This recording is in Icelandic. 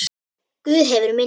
Guð hefur minni.